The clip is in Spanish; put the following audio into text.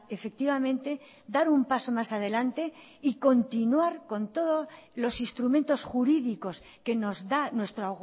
efectivamente dar un paso más adelante y continuar con todos los instrumentos jurídicos que nos da nuestro